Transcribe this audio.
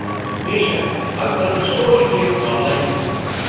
بے شک! ازکل چھِ سورٗیہ کینٛہہ آن لایِن کٔرِتھ ہیٚکان ۔